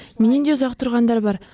менен де ұзақ тұрғандар бар